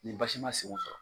Ni basi ma senw sɔrɔ.